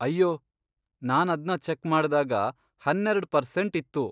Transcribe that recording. ಅಯ್ಯೋ, ನಾನದ್ನ ಚೆಕ್ ಮಾಡ್ದಾಗ ಹನ್ನೆರೆಡ್ ಪರ್ಸೆಂಟ್ ಇತ್ತು.